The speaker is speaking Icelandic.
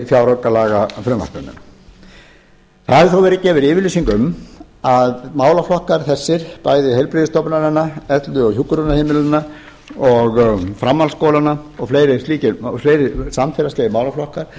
í fjáraukalagafrumvarpinu það hefur þó verið gefin yfirlýsing um að málaflokkar þessir bæði heilbrigðisstofnananna elli og hjúkrunarheimilanna og framhaldsskólanna og fleiri samfélagslegir málaflokkar